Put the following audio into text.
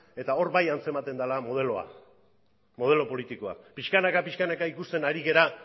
eta hor bai antzematen dela modeloa modelo politikoa pixkanaka pixkanaka ikusten ari gera